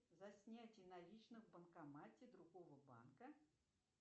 за снятие наличных в банкомате другого банка